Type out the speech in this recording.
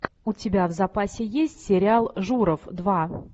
у тебя в запасе есть сериал журов два